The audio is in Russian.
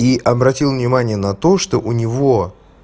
и обратил внимание на то что у него